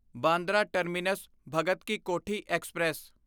Bandra terminus ਭਗਤਕੀ Kothi express